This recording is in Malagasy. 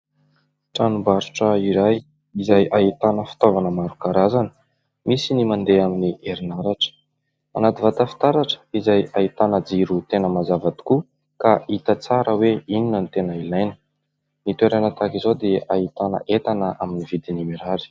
Tranombarotra iray izay ahitana fitaovana maro karazana. Misy ny mandeha amin'ny herinaratra. Anaty vata fitaratra izay ahitana jiro tena mazava tokoa ka hita tsara hoe inona ny tena ilaina. Ny toerana tahaka izao dia ahitana entana amin'ny vidiny mirary.